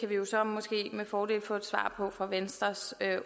vi jo så måske med fordel få et svar fra venstres